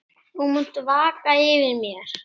Þú munt vaka yfir mér.